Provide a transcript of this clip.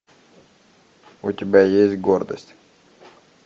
у тебя есть гордость